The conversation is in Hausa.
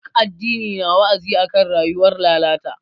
Ɗuk addini na wa'azi akan rayuwar lalata.